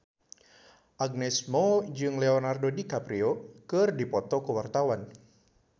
Agnes Mo jeung Leonardo DiCaprio keur dipoto ku wartawan